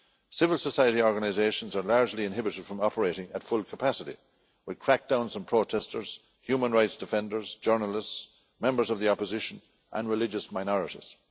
Civil society organisations are largely inhibited from operating at full capacity, with crackdowns on protesters, human rights defenders, journalists, members of the opposition and religious minorities.